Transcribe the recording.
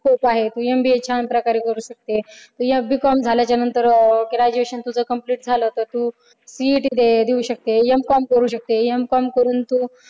खूप आहेत MBA छान प्रकारे करू शकते. तू B com झाल्यानंतर graduation complete झालं की तू CET देऊ शकते. M com करू शकते M com करून तू